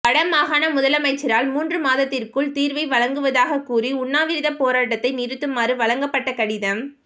வட மாகாண முதலமைச்சரால் மூன்று மாதத்திற்குள் தீர்வை வழங்குவதாகக் கூறி உண்ணாவிரப் போராட்டத்தை நிறுத்துமாறு வழங்கப்பட்ட கடிதம்